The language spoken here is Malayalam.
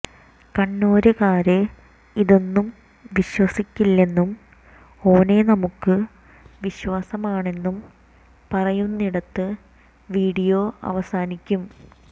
കണ്ണൂരുകാര് ഇതൊന്നും വിശ്വസിക്കില്ലെന്നും ഓനെ നമ്മുക്ക് വിശ്വാസമാണെന്നും പറയുന്നിടത്ത് വീഡിയോ അവസാനിക്കും